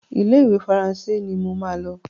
Ile-iwe Faransé ní ọ má ló.